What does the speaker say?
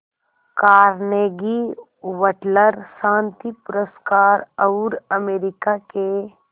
Carnegie Wateler शांति पुरस्कार और अमेरिका के